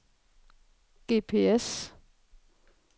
GPS